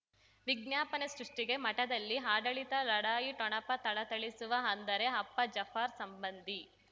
ವಿಜ್ಞಾಪನೆ ಸೃಷ್ಟಿಗೆ ಮಠದಲ್ಲಿ ಆಡಳಿತ ಲಢಾಯಿ ಠೊಣಪ ಥಳಥಳಿಸುವ ಅಂದರೆ ಅಪ್ಪ ಜಾಫರ್ ಸಂಬಂಧಿ